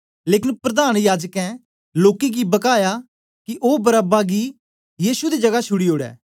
लेकन प्रधान याजकें लोकें गी बकाया कि ओ बरअब्बा गी गै यीशु दी जगह छुड़ी ओड़े